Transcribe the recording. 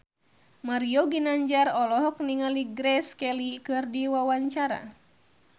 Mario Ginanjar olohok ningali Grace Kelly keur diwawancara